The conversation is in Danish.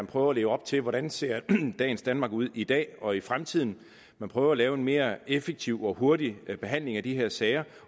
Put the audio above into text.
prøver at lægge op til hvordan ser danmark ud i dag og i fremtiden man prøver at lave en mere effektiv og hurtig behandling af de her sager